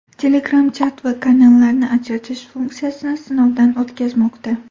Telegram chat va kanallarni ajratish funksiyasini sinovdan o‘tkazmoqda.